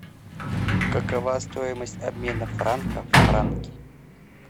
какова стоимость обмена франка в франки